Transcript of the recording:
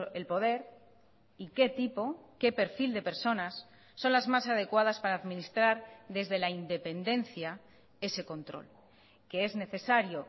el poder y qué tipo qué perfil de personas son las más adecuadas para administrar desde la independencia ese control que es necesario